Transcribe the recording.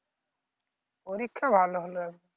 পরীক্ষা ভালো হলো